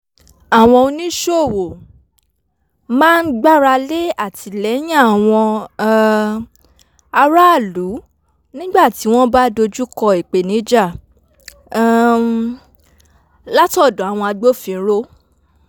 àwọn oníṣòwò máa ń gbáralé àtìlẹ́yìn àwọn um aráàlú nígbà tí wọ́n bá dojúkọ ìpèníjà um látọ̀dọ̀ àwọn agbófinró